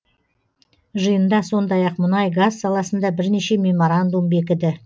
жиында сондай ақ мұнай газ саласында бірнеше меморандум бекіді